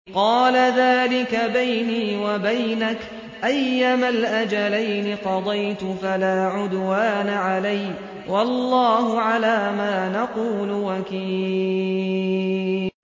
قَالَ ذَٰلِكَ بَيْنِي وَبَيْنَكَ ۖ أَيَّمَا الْأَجَلَيْنِ قَضَيْتُ فَلَا عُدْوَانَ عَلَيَّ ۖ وَاللَّهُ عَلَىٰ مَا نَقُولُ وَكِيلٌ